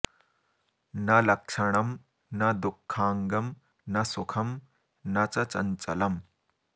न लक्षणं न दुःखाङ्गं न सुखं न च चञ्चलम्